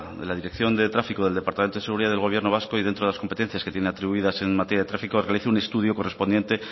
de la dirección de tráfico del departamento de seguridad del gobierno vasco y dentro de las competencias que tiene atribuidas en materia de tráfico realice un estudio correspondiente